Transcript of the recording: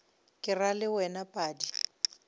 ke ra le wena padi